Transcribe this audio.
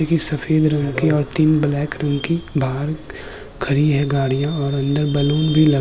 जेसे की सफ़ेद रंग और तीन ब्लैक रंग की बाहर खड़ी है गड़ियां और अंदर बलून भी ला --